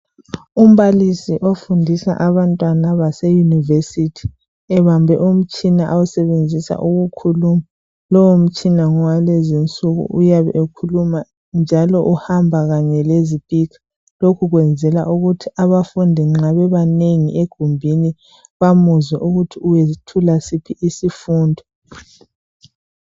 Umbalisi ofundisa abantwana baseyunivesithi. Ebambe umtshina awusebenzisa ukukhuluma. Lowo mitshina ngowalezi nsuku uyabe ekhuluma njalo uhamba kanye lezipikha lokhu ukwenzela ukuthi abafundi nxa bebanengi egumbini bamuzwe ukuthi wethula siphi isifundo.